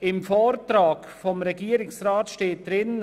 Im Vortrag des Regierungsrats steht Folgendes: